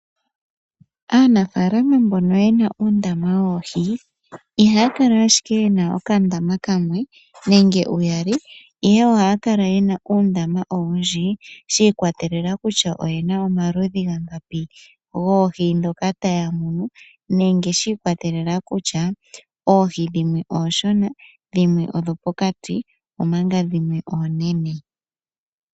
Aanafaalama mbono yena uundama woohi ihaya kala ashike yena okandama kamwe nenge uyali ihe ohaya kala yena uundama owundji, shi ikwatelela kutya oyena omaludhi geli ga ngapi goohi ndhoka taya munu nenge shi ikwatelela kutya oohi dhimwe oonshona, dhimwe odho pokati omanga dhimwe oonene.